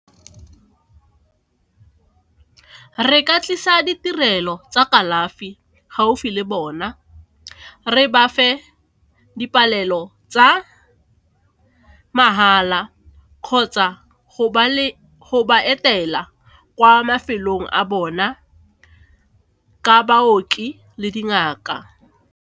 Re ka tlisa ditirelo tsa kalafi gaufi le bona re ba fe dipalelo tsa mahala kgotsa go ba etela kwa mafelong a bona ka baoki le dingaka.